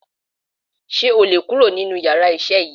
Sé o lè kurò nínú yàrá isé yìí